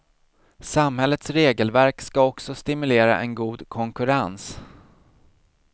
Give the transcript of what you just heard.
Samhällets regelverk ska också stimulera en god konkurrens.